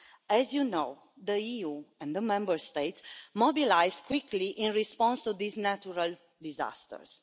As you know, the EU and the Member States mobilised quickly in response to these natural disasters.